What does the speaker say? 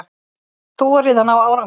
Þorið að ná árangri.